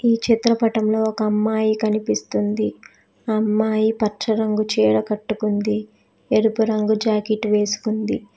ఈ చిత్రపటంలో ఒక అమ్మాయి కనిపిస్తుంది ఆ అమ్మాయి పచ్చ రంగు చీర కట్టుకుంది ఎరుపు రంగు జాకెట్ వేసుకుంది.